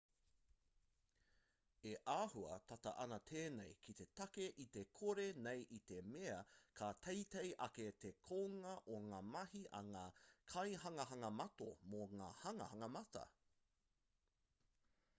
e āhua tata ana tēnei ki te take iti kore nei i te mea ka teitei ake te kounga o ngā mahi a ngā kaihanganga mata mō ngā hanganga mata